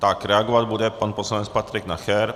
Tak reagovat bude pan poslanec Patrik Nacher.